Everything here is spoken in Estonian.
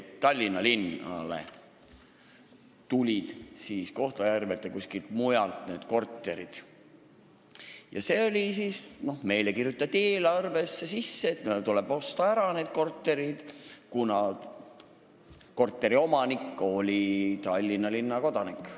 Tallinna linnale tulid Kohtla-Järvelt ja veel kuskilt mujalt need korterid ja meie eelarvesse kirjutati sisse raha, selleks et need korterid ära osta, kuna korteriomanik oli Tallinna linna kodanik.